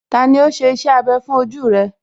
Tani ó ṣe iṣẹ́ abẹ fún ojú rẹ̀?